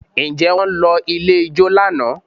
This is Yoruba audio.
Ǹjẹ́ wọ́n lọ ilé ijó lánàá?